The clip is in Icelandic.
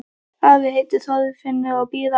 Afi heitir Þorfinnur og býr á